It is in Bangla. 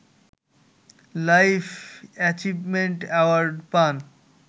লাইফ এচিভমেন্ট অ্যাওয়ার্ড পান